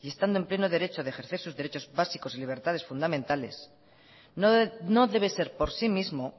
y estando en pleno derecho de ejercer sus derechos básicos y libertades fundamentales no debe ser por sí mismo